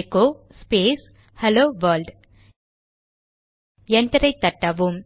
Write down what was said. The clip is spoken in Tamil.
எகோ ஸ்பேஸ் ஹெலோ வெர்ல்ட் என்டரை தட்டவும்